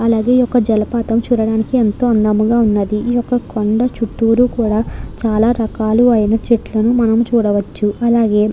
అలాగే ఈ యొక్క జలపాతం చూడడానికి ఎంతో అందంగా ఉన్నది ఈ యొక్క కొండ చుట్టూరు కూడా చాలా రకాలైన చెట్లను మనం చూడవచ్చు. అలాగె --